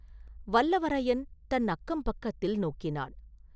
வல்லவரையன் தன் அக்கம் பக்கத்தில் நோக்கினான்.